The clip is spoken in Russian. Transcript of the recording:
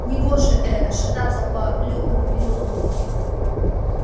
негоже э-э шататься по лютному переулку